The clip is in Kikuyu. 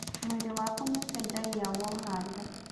Mwĩrĩ waku nĩũcenjagia woha nda